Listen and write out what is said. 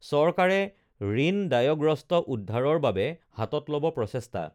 চৰকাৰে ঋণদায়গ্ৰস্ত উদ্ধাৰৰ বাবে হাতত লব প্ৰচেষ্টা